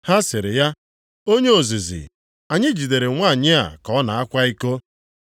Ha sịrị ya, “Onye ozizi, anyị jidere nwanyị a ka ọ na-akwa iko.